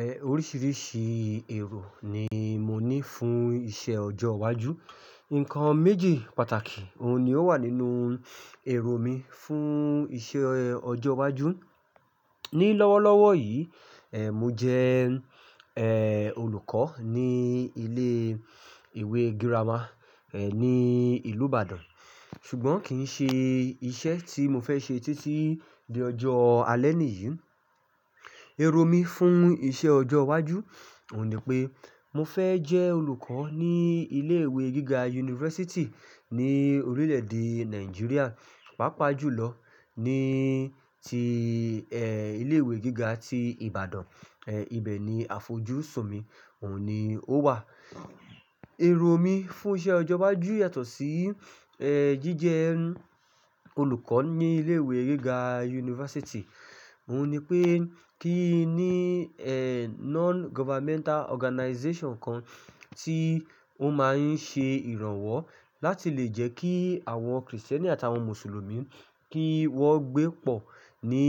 Ehn, oríṣiríṣi èrò ni mo ní fún iṣẹ́ ọjọ́ iwájú. Ǹkan méjì pàtàkì òun ni ó wà nínú èrò mi fún iṣẹ́ ọjọ́ iwájú. Ni lọ́wọ́lọ́wọ́ yìí, ehn, mo jẹ, ehn, olùkọ́ ní ilé ìwé girama, ehn, ní ìlú Ìbàdàn. Ṣùgbọ́n kì í ṣe iṣẹ́ tí mo fẹ́ ṣe títí di ọjọ́ alẹ́ nìyí. Èrò mi fún iṣẹ́ ọjọ́ iwájú òun ni pé mo fẹ́ jẹ́ olùkọ́ ní ilé ìwé gíga university ní orílẹ̀ èdè Nàìjíríà. Pápá jùlọ ní ti, ehn, ilé ìwé gíga ti Ìbàdàn, ehn, ibẹ̀ ni àfojúsùn mi òun ni ó wà. Èrò mi fún iṣẹ́ ọjọ́ iwájú yàtọ̀ sí, ehn, jíjẹ olùkọ́ ní ilé ìwé gíga university. Òun ni pé kí í ní, ehn, non governmental organization kan tí ó máa ń ṣe ìrànwọ́ láti lè jẹ́ kí àwọn Kristẹni àti àwọn Mùsùlùmí kí wón gbé pọ̀ ní